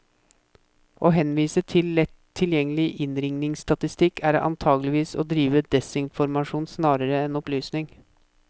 Å henvise til lett tilgjengelig innringningsstatistikk, er antagelig å drive desinformasjon snarere enn opplysning.